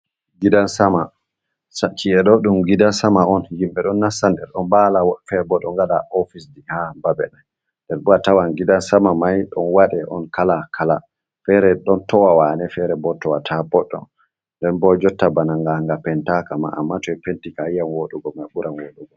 Gidan sama! Ci'e ɗo ɗum gidan sama on. Himɓe ɗo nasta nder ɗon nbaala, woɓɓe fere bo ɗo waɗa ofis ji ha babe mai. Nden bo a tawan gidan sama mai, ɗon waɗe on kala-kala. Feere ɗon towa waane, feere bo towata boɗɗum. Nden bo jotta bana nga, nga pentaaka ma amma to ɓe penti kam a yi'an wooɗugo mai ɓuran wooɗugo.